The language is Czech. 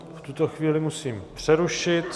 Já vás v tuto chvíli musím přerušit.